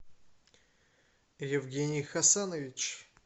евгений хасанович